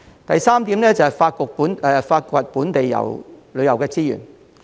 第三，是發掘本地旅遊的資源。